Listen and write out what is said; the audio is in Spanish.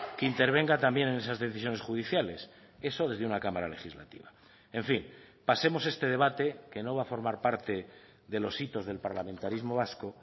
que intervenga también en esas decisiones judiciales eso desde una cámara legislativa en fin pasemos este debate que no va a formar parte de los hitos del parlamentarismo vasco